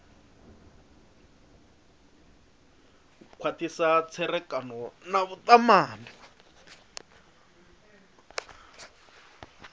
u khwathisa tserekano na vhutumani